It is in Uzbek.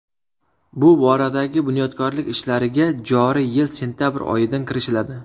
Bu boradagi bunyodkorlik ishlariga joriy yil sentyabr oyidan kirishiladi.